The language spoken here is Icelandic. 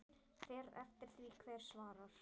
Fer eftir því hver svarar.